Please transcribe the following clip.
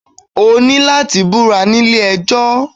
O ní láti búra nílé ejọ́